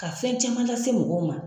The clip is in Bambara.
Ka fɛn caman lase mɔgɔw ma.